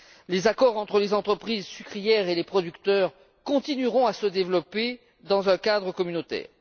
Les accords entre les entreprises sucrières et les producteurs continueront à se développer dans un cadre communautaire.